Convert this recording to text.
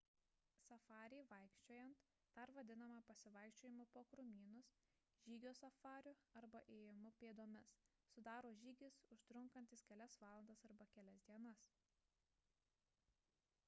safarį vaikščiojant dar vadinamą pasivaikščiojimu po krūmynus žygio safariu arba ėjimu pėdomis sudaro žygis užtrunkantis kelias valandas arba kelias dienas